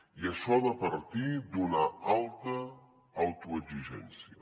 i això ha de partir d’una alta autoexigència